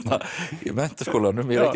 Menntaskólanum í Reykjavík